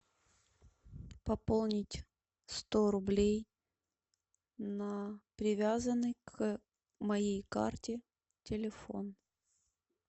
пополнить сто рублей на привязанный к моей карте телефон